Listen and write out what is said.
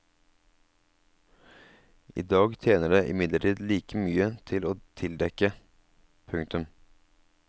I dag tjener det imidlertid like mye til å tildekke. punktum